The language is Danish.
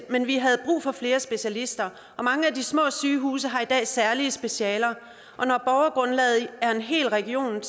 men vi havde brug for flere specialister og mange af de små sygehuse har i dag særlige specialer og når borgergrundlaget er en hel region